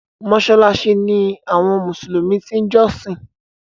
Mọ́ṣáláṣí ní àwọn mùsùlùmí ti ń jọ́sìn.